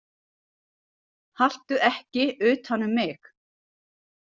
Haltu ekki utan um mig.